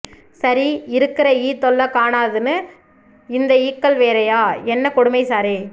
சரி இருக்குற ஈ தொல்ல காணாதுன்னு இந்த ஈக்கள் வேறைய என்ன கொடுமை சாரே